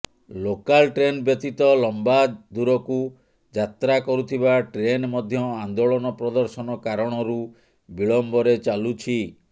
local train ବ୍ୟତୀତ ଲମ୍ବା ଦୂରକୁ ଯାତ୍ରା କରୁଥିବା ଟ୍ରେନ ମଧ୍ୟ ଆନ୍ଦୋଳନ ପ୍ରଦର୍ଶନ କାରଣରୁ ବିଳମ୍ବରେ ଚାଲୁଛି